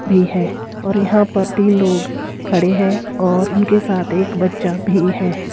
भी है और यहां पर तीन लोग खड़े हैं और उनके साथ एक बच्चा भी है।